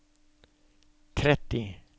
tretti